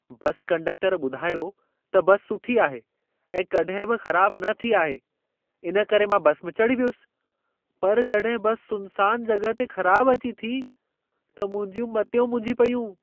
बस conductor ॿुधायो त bus सुठी आहे ऐं कॾहिं बि ख़राब न थी आहे, इन करे मां बस में चढ़ी वियुसि। पर जॾहिं बस सुनसान जॻह ते ख़राब अची थी, त मुंहिंजियूं मतियूं मुंझी पयूं।